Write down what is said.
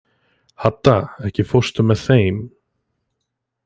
Hadda, ekki fórstu með þeim?